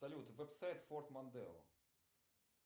салют веб сайт форд мондео